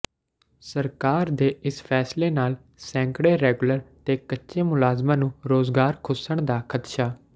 ਸਰਕਾਰ ਦੇ ਇਸ ਫੈਸਲੇ ਨਾਲ ਸੈਂਕੜੇ ਰੈਗੂਲਰ ਤੇ ਕੱਚੇ ਮੁਲਾਜ਼ਮਾਂ ਨੂੰ ਰੁਜ਼ਗਾਰ ਖੁੱਸਣ ਦਾ ਖਦਸ਼ਾ